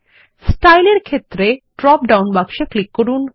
স্টাইলএর ক্ষেত্রে drop down বাক্সে click করুন